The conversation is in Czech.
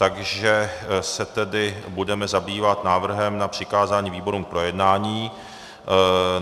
Takže se tedy budeme zabývat návrhem na přikázání výborům k projednání.